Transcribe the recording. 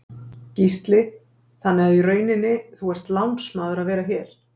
Gísli: Þannig að í rauninni, þú ert lánsmaður að vera hér?